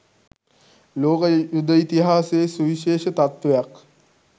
ලෝක යුධ ඉතිහාසයේ සුවිශේෂ තත්වයක්